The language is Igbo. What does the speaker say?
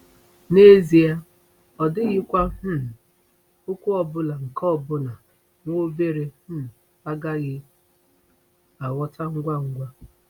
N'ezie, ọ dịghịkwa um okwu ọbụla nke ọbụna nwa obere um agaghị aghọta ngwa ngwa!